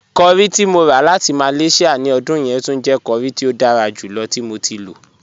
Curry ti mo rà láti Malaysia ní ọdún yẹn túń jẹ̀ curry tí o dára júlọ̀ tí mo ti lọ.